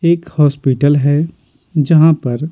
एक हॉस्पिटल है जहाँ पर --